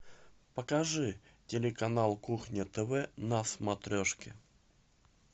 покажи телеканал кухня тв на смотрешке